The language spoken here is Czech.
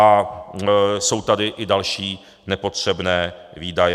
A jsou tady i další nepotřebné výdaje.